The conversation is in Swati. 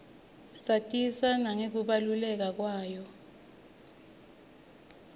satiswa nangekubaluleka kwayo